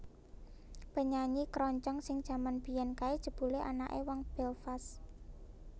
Penyanyi keroncong sing jaman mbiyen kae jebule anake wong Belfast